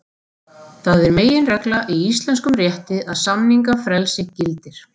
Það er meginregla í íslenskum rétti að samningafrelsi gildir.